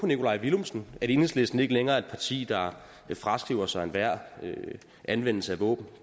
nikolaj villumsen at enhedslisten ikke længere er et parti der fraskriver sig enhver anvendelse af våben